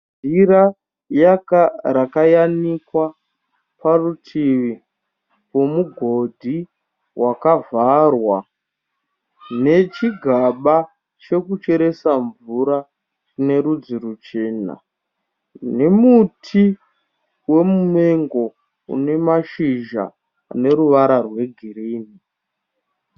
Jira rakayanikwa parutivi pomugodhi wakavharwa nechigaba chekucheresa mvura chine rudzi ruchena nemuti wemumengo une mashizha ane ruvara rwegirinhi.